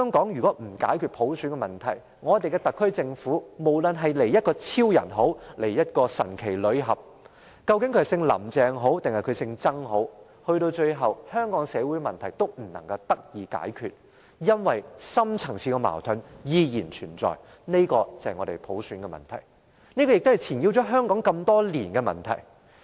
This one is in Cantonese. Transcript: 若不解決普選問題，我們的特區政府，不論是由超人或神奇女俠，究竟由姓林鄭的人還是姓曾的人來領導，到了最後，香港的社會問題都不能得到解決，因為深層次的矛盾依然存在，這就是普選的問題，亦是纏繞香港多年的問題。